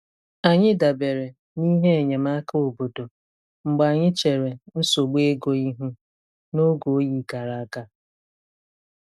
Anyị dabere na ihe enyemaka obodo mgbe anyị chere nsogbu ego ihu n'oge oyi gara aga.